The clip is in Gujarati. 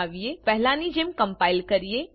ચાલો પહેલાની જેમ કમ્પાઈલ કરીએ